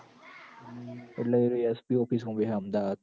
એટલે એરોયે SP office માં બેહ અમદાવાદ